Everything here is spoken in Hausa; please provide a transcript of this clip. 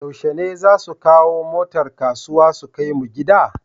Yushe ne zasu kawo motar kasuwa su kai mu gida?